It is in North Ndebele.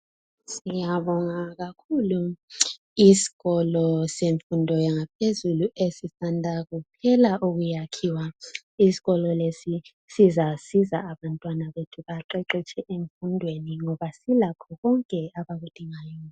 Siyabonga kakhulu. Iskolo semfundo yaphezulu esisanda kuphela ukwakhiwa. Iskolo lesi sizasiza abantwana bethu baqeqetshe emfundweni ngoba silakho konke abakudingayo.